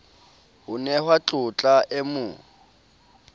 ho nehwa tlotla e mo